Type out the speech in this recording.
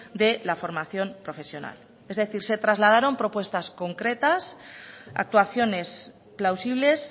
de la formación profesional es decir se trasladaron propuestas concretas actuaciones plausibles